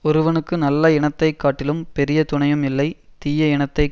ஒருவனுக்கு நல்ல இனத்தை காட்டிலும் பெரிய துணையும் இல்லை தீய இனத்தை